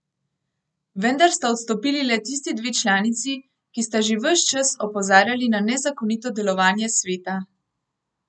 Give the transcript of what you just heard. Vendar sta odstopili le tisti dve članici, ki sta že ves čas opozarjali na nezakonito delovanje sveta.